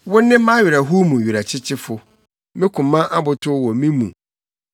Wone mʼawerɛhow mu Werɛkyekyefo, me koma abotow wɔ me mu.